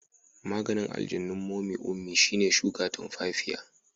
Maganin aljanun momy ummi shine shuka tumfafiya.